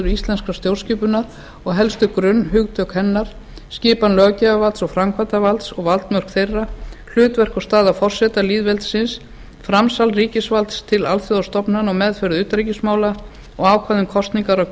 íslenskrar stjórnskipunar og helstu grunnhugtök hennar skipan löggjafarvalds og framkvæmdarvalds og valdmörk þeirra hlutverk og staða forseta lýðveldisins framsal ríkisvalds til alþjóðastofnana og meðferð utanríkismála og ákvæði um kosningar og